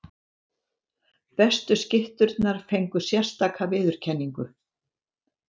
Bestu skytturnar fengu sérstaka viðurkenningu.